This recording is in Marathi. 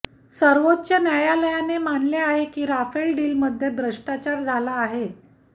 सर्वोच्च न्यायालयाने मानले आहे की रफेल डीलमध्ये भ्रष्टाचार झाला आहे